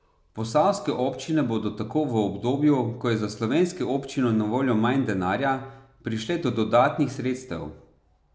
Posavske občine bodo tako v obdobju, ko je za slovenske občine na voljo manj denarja, prišle do dodatnih sredstev.